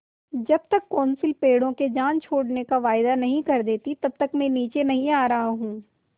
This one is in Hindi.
जब तक कौंसिल पेड़ों की जान छोड़ने का वायदा नहीं कर देती तब तक मैं नीचे नहीं आ रहा हूँ